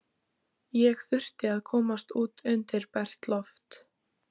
Ég þurfti að komast út undir bert loft.